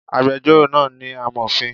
Agbẹjọ́rò náà ni amòfin